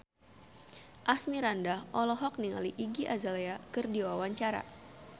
Asmirandah olohok ningali Iggy Azalea keur diwawancara